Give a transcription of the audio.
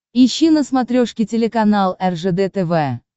ищи на смотрешке телеканал ржд тв